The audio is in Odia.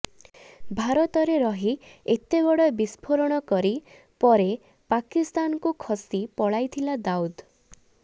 ଭାରତରେ ରହି ଏତେବଡ ବିସ୍ପୋରଣ କରି ପରେ ପାକିସ୍ତାନକୁ ଖସି ପଳାଇଥିଲା ଦାଉଦ